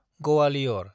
Gwalior